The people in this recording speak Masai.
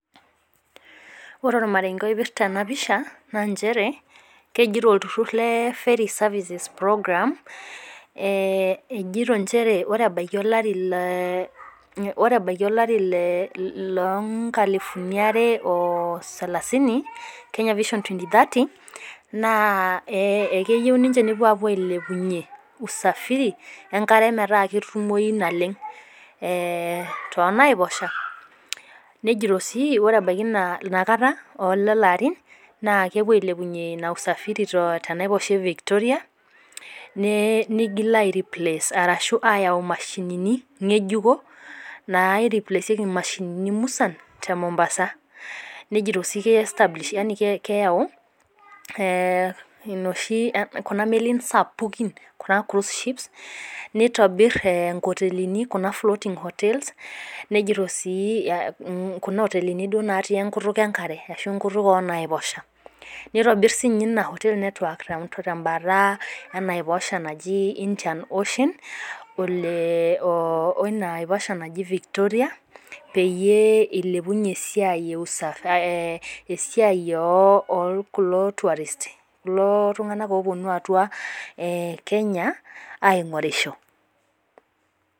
Ore ormarenge oipirta ena pisha naa nchere, kejito olturur le ferry services program, chere ore ebaiki olari loonkalifuni are osalasini, kenya vision twenty thirty naa keyieu ninche nepuo ailepunyie usafiri enkare metaa ketumoyu naleng, toonaiposha. Nejito sii ore ebaiki inakata olelo arin, naa kepuo ailepunyie ina usafiri tenapisha e lake Victoria nigil ayau mashinini ngejuko naireplasieki mashinini musan temombasa. Nejito sii keyau kuna melin sapukin, float ships neitobir nkotelini kuna floating hotels kuna otelini natii enkutuk enkare ashu enkutuk oonaiposha. Nitobir siininye ina oteli temabata ee Indian ocean oiba naji Victoria ,peyie eilepunyie ina siai okuldo tourists. Kulo tunganak ooponu atua kenya aingorisho.